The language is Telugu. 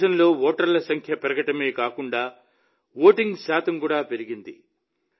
దేశంలో ఓటర్ల సంఖ్య పెరగడమే కాకుండా ఓటింగ్ శాతం కూడా పెరిగింది